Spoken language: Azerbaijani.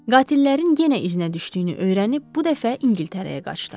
Qatillərin yenə izinə düşdüyünü öyrənib bu dəfə İngiltərəyə qaçdı.